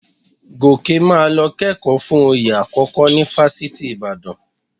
Gòkè máa lọ kẹ́kọ̀ọ́ fún oyè àkọ́kọ́ ní Fáṣítì Ìbàdàn